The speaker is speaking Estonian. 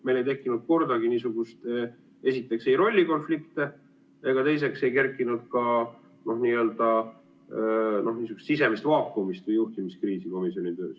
Meil ei tekkinud kordagi rollikonflikte ega kerkinud ka niisugust sisemist vaakumit või juhtimiskriisi komisjoni töös.